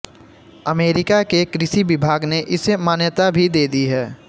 America के कृषि विभाग ने इसे मान्यता भी दे दी है